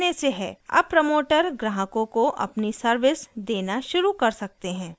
अब प्रमोटर ग्राहकों को अपनी सर्विस देना शुरू कर सकते हैं